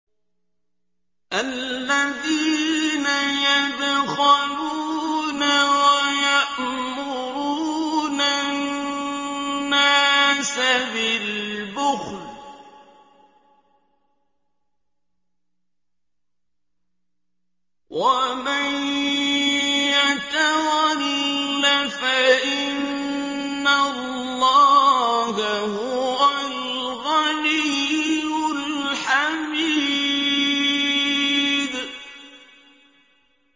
الَّذِينَ يَبْخَلُونَ وَيَأْمُرُونَ النَّاسَ بِالْبُخْلِ ۗ وَمَن يَتَوَلَّ فَإِنَّ اللَّهَ هُوَ الْغَنِيُّ الْحَمِيدُ